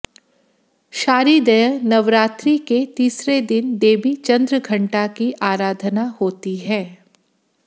शारीदय नवरात्रि के तीसरे दिन देवी चंद्रघंटा की आराधना होती है